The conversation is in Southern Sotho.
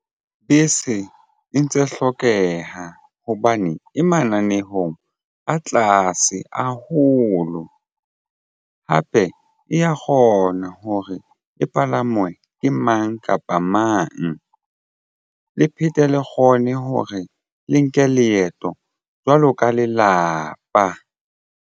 Bese e ntse hlokeha hobane e mananehong a tlase haholo hape e ya kgona hore e palangwe ke mang kapa mang le phete le kgone hore le nke leeto jwalo ka lelapa.